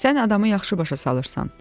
Sən adamı yaxşı başa salırsan.